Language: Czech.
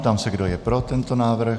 Ptám se, kdo je pro tento návrh.